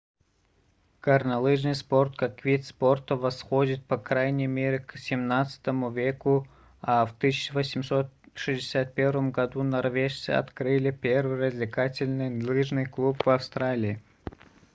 горнолыжный спорт как вид спорта восходит по крайней мере к xvii веку а в 1861 году норвежцы открыли первый развлекательный лыжный клуб в австралии